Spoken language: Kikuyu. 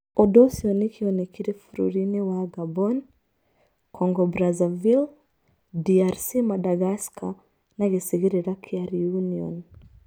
ũndu ucio nĩ kĩonekire bũrũri-inĩ wa Gabon, Congo-Brazaville, DRC Madagascar na gĩcigĩrĩra kĩa Reunion.